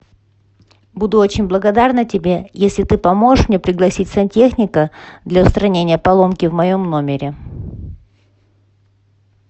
буду очень благодарна тебе если ты поможешь мне пригласить сантехника для устранения поломки в моем номере